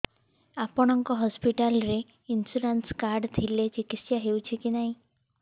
ଆପଣଙ୍କ ହସ୍ପିଟାଲ ରେ insurance card ଥିଲେ ଚିକିତ୍ସା ହେଉଛି କି ନାଇଁ